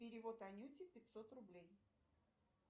перевод анюте пятьсот рублей